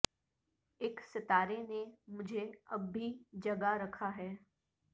اک ستارے نے مجھے اب بھی جگا رکھا ہے